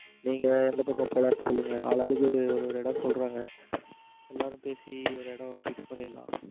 நீங்க எந்த பக்கம் போலன்னு சொல்லுங்க ஆளு ஆளுக்கு ஒரு ஒரு இடம் சொல்லுறாங்க எல்லாரும் பேசி ஒரு இடம் fix பண்ணிறலாம்.